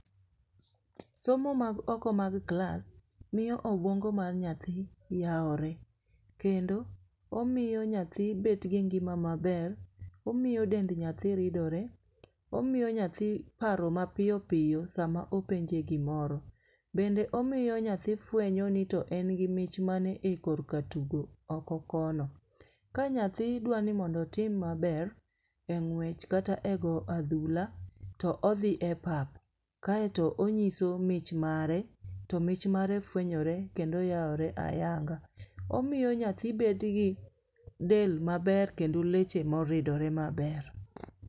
Somo mag oko mag klas, miyo obuongo mag nyathi yawore, kendo omiyo nyathi bet gi ng'ima maber , omiyo dend nyathi ridore, omiyo nyathi paro mapiyo piyo sama openje gimoro, bende omiyo nyathi fwenyoni to bende en gi mich mane e kor ka tugo oko kono, ka nyathi dwaro ni mondo otim maber e ng'wech kata e go adhula to odhi e pap kaeto onyiso mich mare, to mich mare fwenyore kendo yawore ayanga, omiyo nyathi bet gi del maber kendi leche ma oridore maber